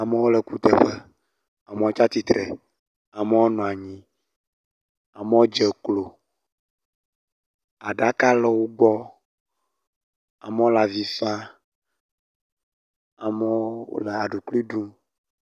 Amewo le kuteƒe, amewo tsi atsitre, ameo nɔ anyi, amewo dze klo. Aɖaka le wo gbɔ, amewo le avi fam, amewo wo le aɖukli ɖum.